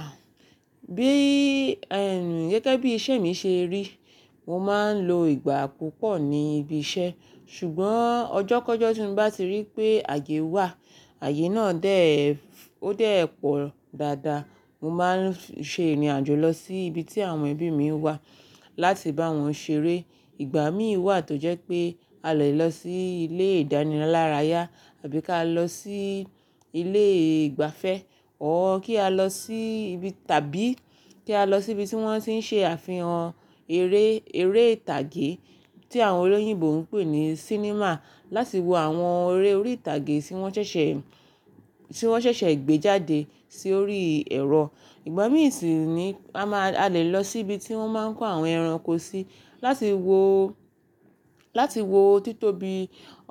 Ah! Bíi, gẹ́gẹ́ bí iṣẹ́ mi ṣe rí, mo máa ń lo ìgbà púpọ̀ ní ibi iṣẹ́, ṣùgbọ́n ọjọ́ kọ́jọ́ tí mo bá ti rí pé àyè wà, àyè náà déè, ó dé ẹ pọ̀ dáadáa, mo máa ń ṣe ìrìn àjò lọ sí ibi tí àwọn ẹbí mi wà láti bá wọn ṣeré. Ìgbà mí wà tó jẹ́ pé a lè lọ sí ilé ìdánilárayá àbí ká lọ sí ilé ìgbafẹ́ Or kí a lọ sí ibi tàbí kí a lọ sí ibi tí wọ́n ti ń ṣe àfihàn eré, eré ìtàgé tí àwọn olóyìnbo ń pè ní sinimá láti wo àwọn eré orí ìtàgé tí wọ́n ṣẹ̀ṣẹ̀, tí wọ́n ṣẹ̀ṣẹ̀ gbé jáde sí orí ẹ̀rọ. Ìgbà mí sì ni a máa, a lè lọ sí ibi tí wọ́n máa ń kó àwọn ẹranko sí láti wo, láti wo títóbi